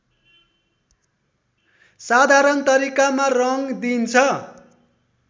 साधारण तरिकामा रङ दिइन्छ